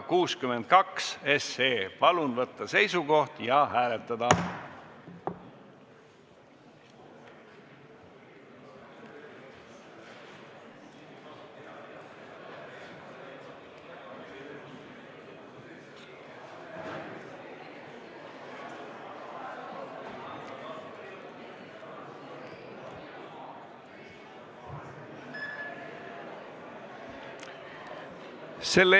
Palun võtta seisukoht ja hääletada!